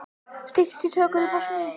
Styttist í tökur í Bosníu